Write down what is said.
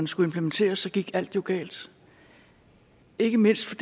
skulle implementeres gik alt jo galt ikke mindst